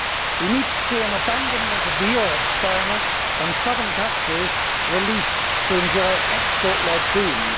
We need to see an abandonment of the euro experiment and southern countries released to enjoy export led booms.